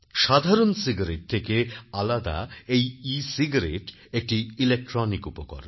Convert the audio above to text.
সাধারন সিগারেট থেকে আলাদা এইecigaretteএকটি ইলেকট্রনিক উপকরণ